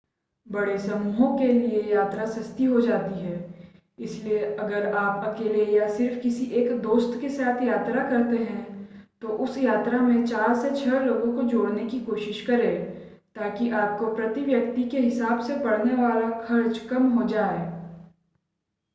बड़े समूहों के लिए यात्राएं सस्ती हो जाती हैं इसलिए अगर आप अकेले या सिर्फ़ किसी एक दोस्त के साथ यात्रा करते हैं तो उस यात्रा में चार से छह लोगों को जोड़ने की कोशिश करें ताकि आपको प्रति व्यक्ति के हिसाब से पड़ने वाला खर्च कम हो जाए